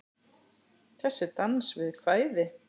Þessi dans við kvæði.